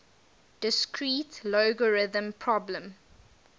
discrete logarithm problem